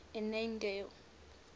annandale